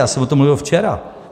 Já jsem o tom mluvil včera.